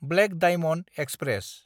black diamond express